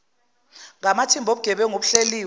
ngamathimba obugebengu obuhleliwe